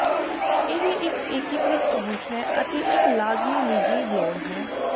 ਇਹ ਇੱਕ ਏਕੀਕ੍ਰਿਤ ਪਹੁੰਚ ਹੈ ਅਤੇ ਇੱਕ ਲਾਜ਼ਮੀ ਨਿੱਜੀ ਲੋੜ ਹੈ